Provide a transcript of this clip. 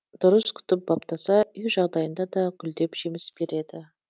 дұрыс күтіп баптаса үй жағдайында да гүлдеп жеміс береді